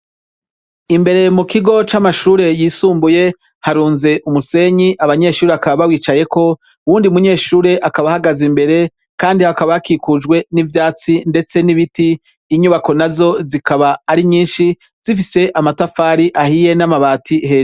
Imbere mu kigo c'amashure yisumbuye harunze umusenyi, abanyeshure bakaba bawicayeko, uwundi munyeshure akaba ahagaze imbere, hakaba hakikujwe n'ivyatsi ndetse n'ibiti , inyubako nazo zikaba ari nyishi, zifise amatafari ahiye n'amabati he.